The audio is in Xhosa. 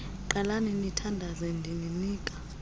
qalani nithandaze ndininika